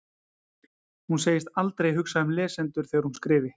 Hún segist aldrei hugsa um lesendur þegar hún skrifi.